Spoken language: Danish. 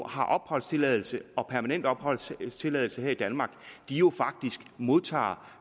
har opholdstilladelse permanent opholdstilladelse her i danmark jo faktisk modtager